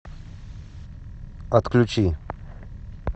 отключи